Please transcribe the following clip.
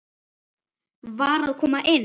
VAR AÐ KOMA INN!